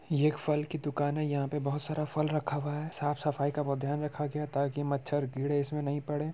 ये एक फल की दुकान है यहाँ पे बहोत सारा फल रखा हुआ है साफ-सफाई का बहोत ध्यान रखा गया है ताकि मच्छर कीड़े इसमें नहीं पड़े।